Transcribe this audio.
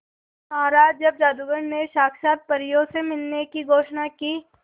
महाराज जब जादूगर ने साक्षात परियों से मिलवाने की घोषणा की